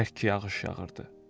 Bərk yağış yağırdı.